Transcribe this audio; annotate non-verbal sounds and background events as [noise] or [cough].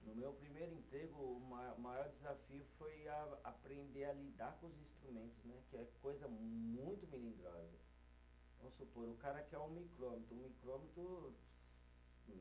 No meu primeiro emprego, o ma maior desafio foi a aprender a lidar com os instrumentos né, que é coisa muito melindrosa, vamos supor, o cara quer um micrômetro, um micrômetro [unintelligible]